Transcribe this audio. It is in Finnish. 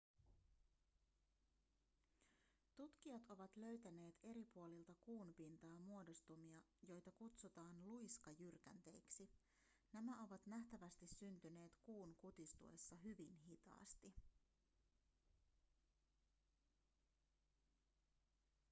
tutkijat ovat löytäneet eri puolilta kuun pintaa muodostumia joita kutsutaan luiskajyrkänteiksi nämä ovat nähtävästi syntyneet kuun kutistuessa hyvin hitaasti